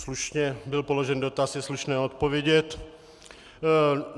Slušně byl položen dotaz, je slušné odpovědět.